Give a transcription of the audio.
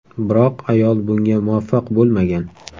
Biroq ayol bunga muvaffaq bo‘lmagan.